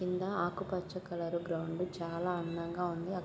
కింద ఆకుపచ్చ colour ground చాలా అందంగా ఉంది. అక్ --